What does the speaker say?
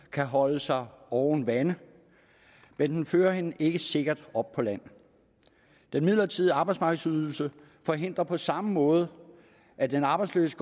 kan holde sig oven vande men den fører hende ikke sikkert op på land den midlertidige arbejdsmarkedsydelse forhindrer på samme måde at den arbejdsløse